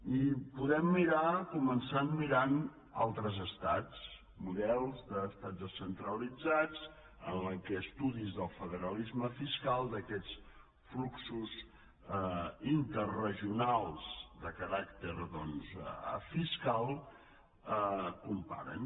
i podem mirar començar mirant altres estats models d’estats descentralitzats en què estudis del federalisme fiscal d’aquests fluxos interregionals de caràcter fiscal comparen